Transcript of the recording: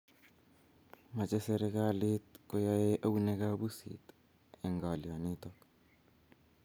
mache serikalit koyae eunek ab pusit eng ngalyo nitok